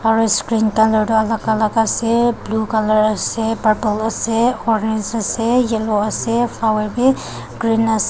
aru screen colour toh alak alak ase blue colour ase purple ase orange ase yellow ase flower vi green ase.